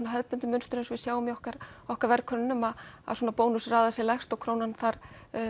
hefðbundið mynstur eins og við sjáum í okkar okkar verðkönnunum Bónus raðar sér lægst og Krónan þar